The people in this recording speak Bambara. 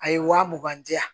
A ye waa mugan di yan